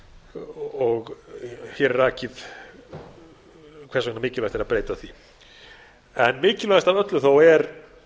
þessum áformum hér er rakið hvers vegna mikilvægt er að breyta því en mikilvægast af öllu er